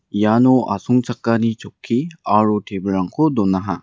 iano asongchakani chokki aro tebilrangko donaha.